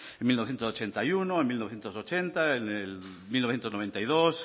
en mil novecientos ochenta y uno en mil novecientos ochenta en el mil novecientos noventa y dos